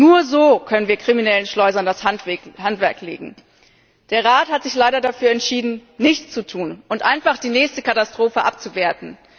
Nur so können wir kriminellen Schleusern das Handwerk legen. Der Rat hat sich leider dafür entschieden, nichts zu tun und einfach die nächste Katastrophe abzuwarten.